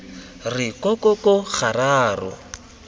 re ko ko ko gararo